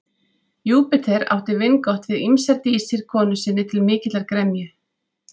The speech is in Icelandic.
Júpíter átti vingott við ýmsar dísir konu sinni til mikillar gremju.